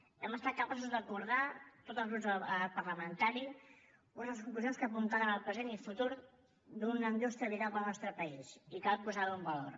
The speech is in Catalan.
hem estat capaços d’acordar tots els grups de l’arc parlamentari unes conclusions que apuntaven al present i futur d’una indústria vital per al nostre país i cal posar ho en valor